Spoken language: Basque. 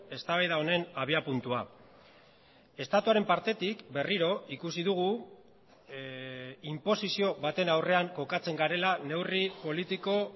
eztabaida honen abiapuntua estatuaren partetik berriro ikusi dugu inposizio baten aurrean kokatzen garela neurri politiko